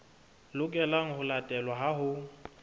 lokelang ho latelwa ha ho